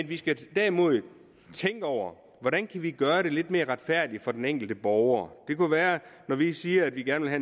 vi skal derimod tænke over hvordan vi kan gøre det lidt mere retfærdigt for den enkelte borger det kunne være at når vi siger at vi gerne vil